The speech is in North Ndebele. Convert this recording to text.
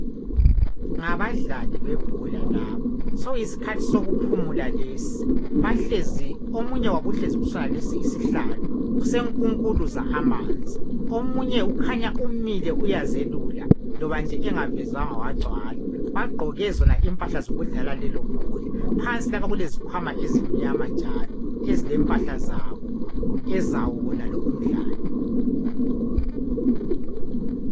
Ngabadlali bebhola laba. Sokuyisikhathi sokuphula lesi. Bahlezi...Omunye wabo uhlezi kusonalesi isihlalo. Usenkunkuluza amanzi. Omunye ukhanya umile, uyazelula. Loba nje engavezwanga wagcwala. Bagqoke impahla zokudlala lona lelobhola. Phansi lapha kukhanya kulempahla zebhola. Ezawo wonalo umdlalo.